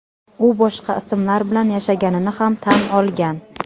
U boshqa ismlar bilan yashaganini ham tan olgan.